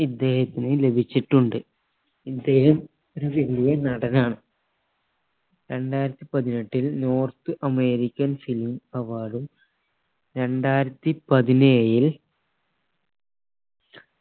ഇദ്ദേഹത്തിന് ലഭിച്ചിട്ടുണ്ട് ഇദ്ദേഹം ഒരു വല്യ നടനാണ് രണ്ടായിരത്തി പതിനെട്ടിൽ north american film award ഉം രണ്ടായിരത്തി പതിനേഴിൽ